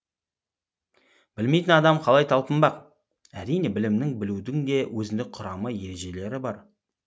білмейтін адам қалай талпынбақ әрине білімнің білудің де өзіндік құрамы ережелері бар